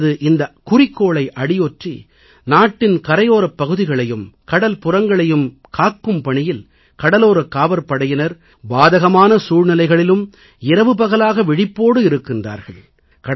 தங்களது இந்தக் குறிக்கோளை அடியொற்றி நாட்டின் கரையோரப் பகுதிகளையும் கடல்புறங்களையும் காக்கும் பணியில் கடலோரக் காவற்படையினர் பாதகமான சூழ்நிலைகளிலும் இரவுபகலாக விழிப்போடு இருக்கிறார்கள்